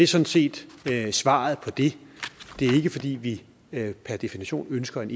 sådan set svaret på det det er ikke fordi vi per definition ønsker en